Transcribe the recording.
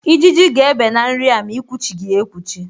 Ijiji ga-ebe na nri a ma i kwuchighi ya ekwuchi.